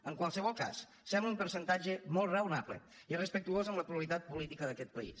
en qualsevol cas sembla un percentatge molt raonable i respectuós amb la pluralitat política d’aquest país